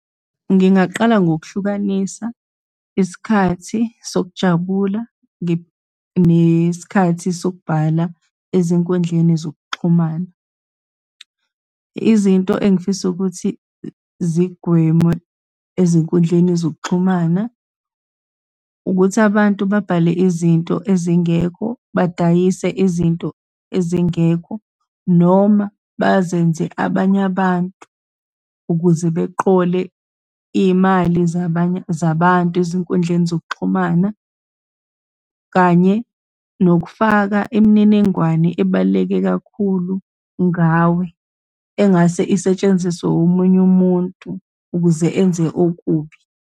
Ngingaqala ngokuhlukanisa isikhathi sokujabula, nesikhathi sokubhala ezinkundleni zokuxhumana. Izinto engifisa ukuthi zigweme ezinkundleni zokuxhumana, ukuthi abantu babhale izinto ezingekho, badayise izinto ezingekho, noma bazenze abanye abantu ukuze beqole iy'mali zabanye, zabantu ezinkundleni zokuxhumana, kanye nokufaka imininingwane ebaluleke kakhulu ngawe, engase isetshenziswe omunye umuntu ukuze enze okubi.